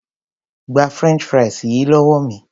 Gba french fries yìí lówó mi.